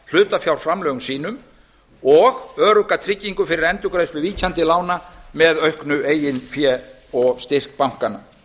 hlutafjárframlögum sínum og örugga tryggingu fyrir endurgreiðslu ríkjandi lána með auknu eigin fé og styrk bankanna